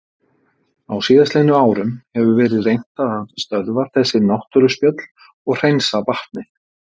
Á síðastliðnum árum hefur verið reynt að stöðva þessi náttúruspjöll og hreinsa vatnið.